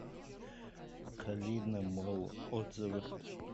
калина молл отзывы